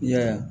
I yɛrɛ